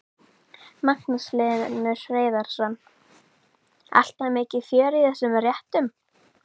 Magnús Hlynur Hreiðarsson: Alltaf mikið fjör í þessum réttum?